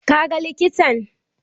Ka ga likitan?